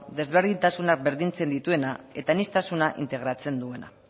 desberdintasunak berdintzen dituena eta aniztasuna integratzen duena